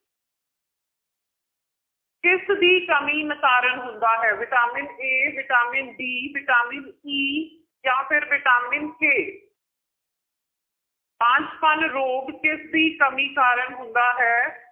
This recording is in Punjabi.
ਕਿਸਦੀ ਕਮੀ ਕਾਰਨ ਹੁੰਦਾ ਹੈ, vitamin a vitamin d vitamin e ਜਾਂ ਫਿਰ ਵਿਟਾਮਿਨ k ਬਾਂਝਪਣ ਰੋਗ ਕਿਸਦੀ ਕਮੀ ਕਾਰਨ ਹੁੰਦਾ ਹੈ?